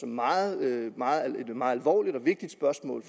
meget alvorligt og vigtigt spørgsmål